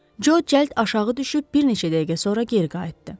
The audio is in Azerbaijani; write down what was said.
Co cəld aşağı düşüb bir neçə dəqiqə sonra geri qayıtdı.